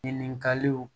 Ɲininkaliw